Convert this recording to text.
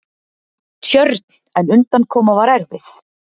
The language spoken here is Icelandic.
Tjörn, en undankoma var erfið.